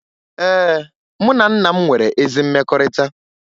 Ee, mụ na nna m nwere ezi mmekọrịta